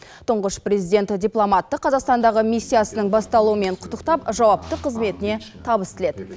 тұңғыш президент дипломатты қазақстандағы миссиясының басталуымен құттықтап жауапты қызметіне табыс тіледі